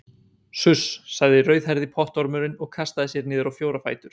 Suss sagði rauðhærði pottormurinn og kastaði sér niður á fjóra fætur.